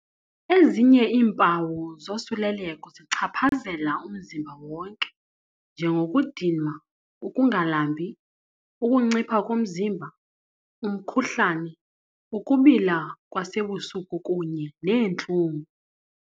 Ezinye iimpawu zosuleleko zichaphazela umzimba wonke, njengokudinwa, ukungalambi, ukuncipha komzimba, umkhuhlane, ukubila kwasebusuku kunye neentlungu.